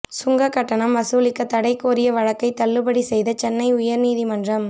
சுங்கக் கட்டணம் வசூலிக்க தடை கோரிய வழக்கை தள்ளுபடி செய்த சென்னை உயர்நீதிமன்றம்